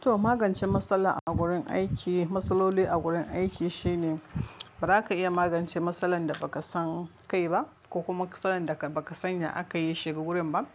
To magance matsala a gurin aiki, matsaloli a gurin aiki shine ba za ka iya magance matsalar da ba ka san kai ba ko kuma matsalar da ba ka san ya aka yi ya shiga gurin ba.